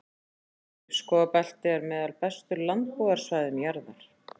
Laufskógabeltið er með bestu landbúnaðarsvæðum jarðar.